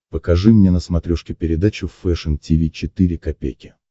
покажи мне на смотрешке передачу фэшн ти ви четыре ка